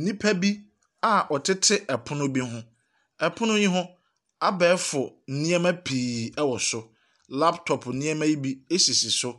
Nnipa bi a wɔtete pono bi ho. Pono yi ho, abɛɛgo nneɛma pii wɔ so. Laptop nneɛma yi bi sisi so.